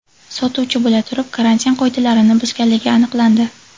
sotuvchi bo‘la turib, karantin qoidalarini buzganligi aniqlandi.